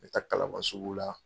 Me taa Kalaban sugu la.